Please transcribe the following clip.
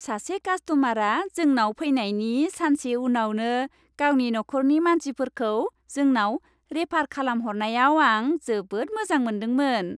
सासे कास्ट'मारआ जोंनाव फैनायनि सानसे उनावनो गावनि नखरनि मानसिफोरखौ जोंनाव रेफार खालामहरनायाव आं जोबोद मोजां मोन्दोंमोन।